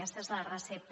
aquesta és la recepta